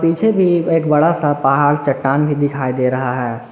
पीछे भी एक बड़ा सा पहाड़ चट्टान भी दिखाई दे रहा है।